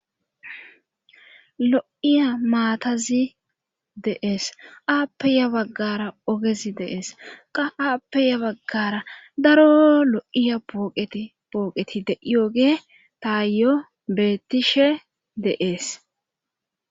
Lo'iya maatazi deees aappeya baggara ogezi deees qa aappeya baggara daro lo'iya pooqeti pooqeti de'iooge taayo beettishe deees